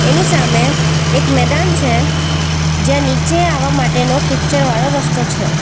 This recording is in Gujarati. એની સામે એક મેદાન છે જ્યાં નીચે આવવા માટેનો કિચ્ચળ વાળો રસ્તો છે.